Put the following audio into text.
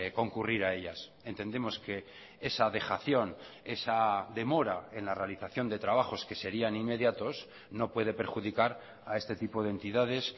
concurrir a ellas entendemos que esa dejación esa demora en la realización de trabajos que serían inmediatos no puede perjudicar a este tipo de entidades